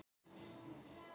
Elísabet: Fjórða?